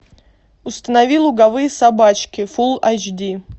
установи луговые собачки фулл айч ди